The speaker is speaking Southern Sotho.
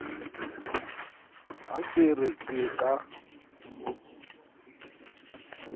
ha ke re ke ka